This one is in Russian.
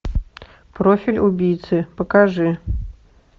профиль убийцы покажи